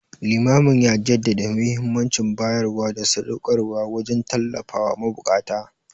Limamin ya jaddada muhimmancin bayarwa da sadauƙarwa wajen tallafawa mabukata.